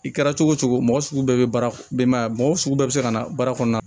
I kɛra cogo cogo mɔgɔ sugu bɛɛ bɛ baara denbaya ye mɔgɔ sugu bɛɛ bɛ se ka na baara kɔnɔna na